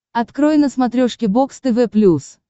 открой на смотрешке бокс тв плюс